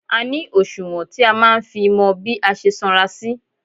A ní òṣùwọ̀n *tí a máa ń fi mọ bí a ṣe sanra sí.